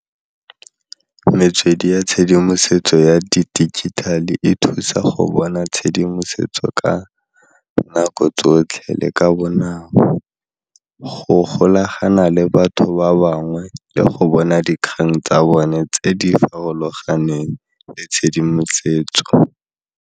Metswedi ya tshedimosetso ya di digital e thusa go bona tshedimosetso ka nako tsotlhe le ka bonako go golagana le batho ba bangwe le go bona dikgang tsa bone tse di farologaneng le tshedimosetso.